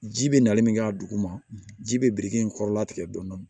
Ji bɛ nali min kɛ a duguma ji bɛ biriki in kɔrɔla tigɛ dɔɔni